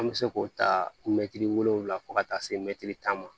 An bɛ se k'o ta wolonwula fo ka taa se mɛtiri tan ma